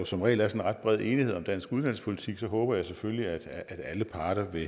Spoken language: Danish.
som regel er sådan ret bred enighed om dansk uddannelsespolitik håber jeg selvfølgelig at alle parter vil